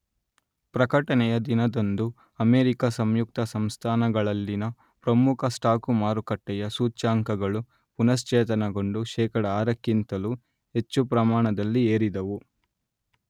ಪ್ರಕಟಣೆಯ ದಿನದಂದು ಅಮೆರಿಕಾ ಸಂಯುಕ್ತ ಸಂಸ್ಥಾನಗಳಲ್ಲಿನ ಪ್ರಮುಖ ಸ್ಟಾಕು ಮಾರುಕಟ್ಟೆಯ ಸೂಚ್ಯಾಂಕಗಳು ಪುನಶ್ಚೇತನಗೊಂಡು ಶೇಕಡಾ ಆರಕ್ಕಿಂತಲೂ ಹೆಚ್ಚು ಪ್ರಮಾಣದಲ್ಲಿ ಏರಿದವು